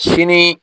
Sini